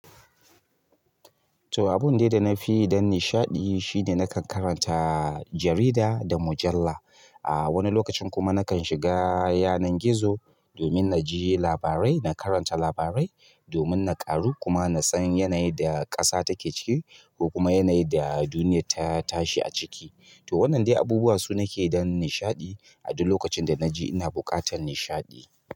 To abun dai da na fi don nishaɗi shine nakan karanta jarida da mujalla. A wani lokacin kuma nakan shiga yanar gizo domin naji labarai, na karanta labarai domin na ƙaru kuma na san yanayin da ƙasa take ciki ko kuma yanayin da duniya ta tashi a ciki. To wannan dai abubuwan su nake yi don nishaɗi a duk lokacin da naji ina buƙatar nishaɗi.